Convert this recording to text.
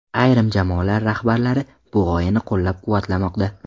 Ayrim jamoalar rahbarlari bu g‘oyani qo‘llab-quvvatlamoqda.